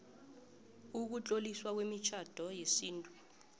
ukutloliswa kwemitjhado yesintu